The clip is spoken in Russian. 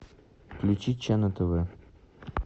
включи че на тв